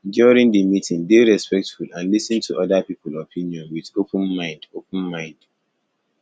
during di meeting dey respectful and lis ten to oda people opinion with open mind open mind